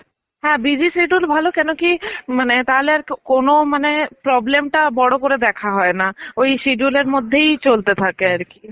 হ্যাঁ busy schedule ভালো কেন কি মানে তাহলে আর কোনো মানে problem টা বড় করে দেখা হয় না ওই schedule এর মধ্যেই চলতে থাকে আর কি.